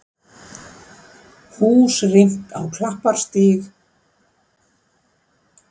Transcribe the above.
Hús rýmt á Klapparstíg